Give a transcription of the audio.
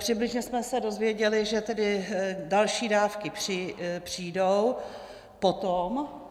Přibližně jsme se dozvěděli, že tedy další dávky přijdou potom.